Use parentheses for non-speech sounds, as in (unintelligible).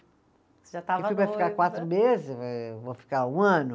Você já estava noiva. (unintelligible) quatro meses, eh eu vou ficar um ano.